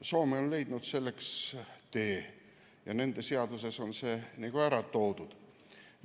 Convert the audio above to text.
Soome on leidnud selleks oma tee ja nende seaduses on see kõik ära toodud.